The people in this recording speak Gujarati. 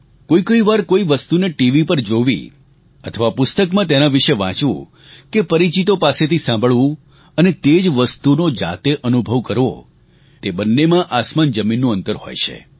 કોઈ કોઈ વાર કોઈ વસ્તુને ટીવી પર જોવી અથવા પુસ્તકમાં તેના વિષે વાંચવું કે પરિચિતો પાસેથી સાંભળવું અને તે જ વસ્તુનો જાતે અનુભવ કરવો તે બંનેમાં આસમાનજમીનનું અંતર હોય છે